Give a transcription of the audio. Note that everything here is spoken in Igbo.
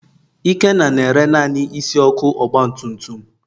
Ikenna na-ere naanị isi ọkụ ọgbatumtum.